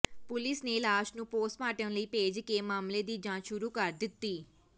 police ਨੇ ਲਾਸ਼ ਨੂੰ ਪੋਸਟਮਾਰਟਮ ਲਈ ਭੇਜ ਕੇ ਮਾਮਲੇ ਦੀ ਜਾਂਚ ਸ਼ੁਰੂ ਕਰ ਦਿੱਤੀ